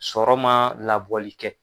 Sɔrɔ man labɔli kɛ.